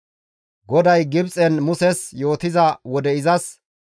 GODAY Gibxen Muses yootiza wode izas,